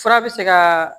Fura bɛ se ka